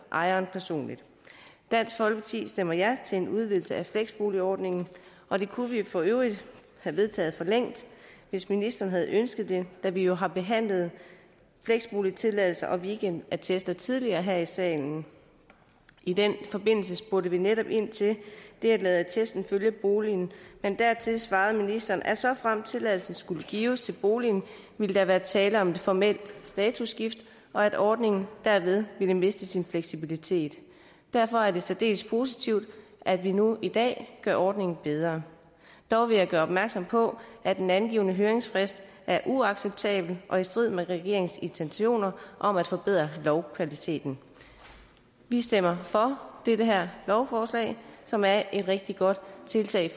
ejeren personligt dansk folkeparti stemmer ja til en udvidelse af fleksboligordningen og det kunne vi for øvrigt have vedtaget for længst hvis ministeren havde ønsket det da vi jo har behandlet fleksboligtilladelser og weekendattester tidligere her i salen i den forbindelse spurgte vi netop ind til det at lade attesten følge boligen men dertil svarede ministeren at såfremt tilladelsen skulle gives til boligen ville der være tale om et formelt statusskift og at ordningen derved ville miste sin fleksibilitet derfor er det særdeles positivt at vi nu i dag gør ordningen bedre dog vil jeg gøre opmærksom på at den angivne høringsfrist er uacceptabel og i strid med regeringens intentioner om at forbedre lovkvaliteten vi stemmer for det her lovforslag som er et rigtig godt tiltag